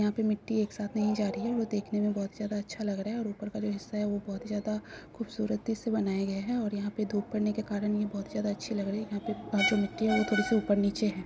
यहां पे मिट्टी एक साथ नहीं जा रही है वो देखने मे बहोत ही ज्यादा अच्छा लग रहा है। और ऊपर का जो हिस्सा है वो बहोत ही ज्यादा खूबसूरती से बनाया गया है। और यहां पे धुप पड़ने के कारण बहोत ही ज्यादा अच्छी लग रही है। यहां पे बहुदो मिट्टी है वो थोड़ी-सी ऊपर-नीचे हैं।